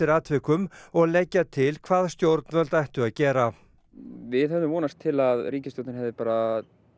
atvikum og leggja til hvað stjórnvöld ættu að gera við hefðum vonast til að ríkisstjórnin hefði bara